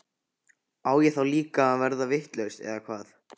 Á ég þá líka að verða vitlaus eða hvað?